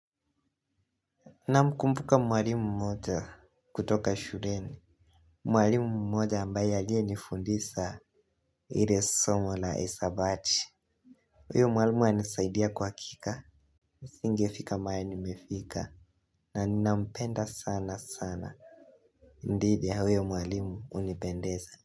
Namkumbuka mwalimu mmoja kutoka shuleni. Mwalimu mmoja ambaye aliye nifundisa ile somo la esabati uyo mwalimu alinisaidia kwa hakika, nisingefika mahali nimefika na nina mpenda sana sana. Ndidhi ya huyo mwalimu unipendeza.